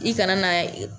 I kana na